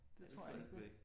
Det tror jeg ikke på